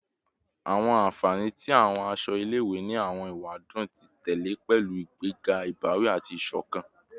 Awọn anfani ti awọn aṣọ ile-iwe ni awọn ewadun ti tẹlẹ pẹlu igbega ibawi ati isokan